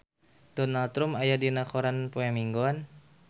Donald Trump aya dina koran poe Minggon